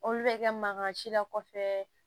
Olu bɛ kɛ mankan si la kɔfɛ